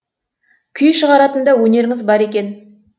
күй шығаратын да өнеріңіз бар екен